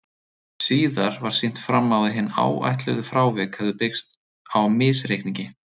Síðar var sýnt fram á að hin áætluðu frávik hefðu byggst á misreikningi.